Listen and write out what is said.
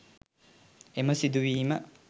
එම සිදුවීම